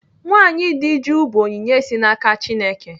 Nwaanyị di jụụ bụ onyinye si n'aka Chineke.